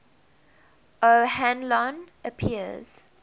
o hanlon appears